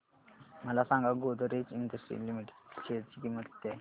मला सांगा Godrej industries limited च्या शेअर ची किंमत किती आहे